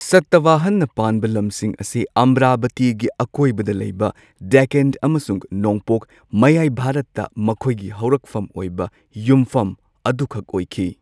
ꯁꯇꯋꯥꯍꯟꯅ ꯄꯥꯟꯕ ꯂꯝꯁꯤꯡ ꯑꯁꯤ ꯑꯃꯔꯥꯕꯇꯤꯒꯤ ꯑꯀꯣꯏꯕꯗ ꯂꯩꯕ ꯗꯦꯛꯀꯥꯟ ꯑꯃꯁꯨꯡ ꯅꯣꯡꯄꯣꯛ ꯃꯌꯥꯏ ꯚꯥꯔꯠꯇ ꯃꯈꯣꯏꯒꯤ ꯍꯧꯔꯛꯐꯝ ꯑꯣꯏꯕ ꯌꯨꯝꯐꯝ ꯑꯗꯨꯈꯛ ꯑꯣꯏꯈꯤ꯫